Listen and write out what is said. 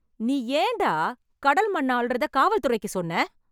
நீ ஏன், டா. கடல் மண்ண அள்றத , காவல் துறைக்கு சொன்ன ?